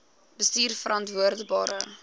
bestuurverantwoordbare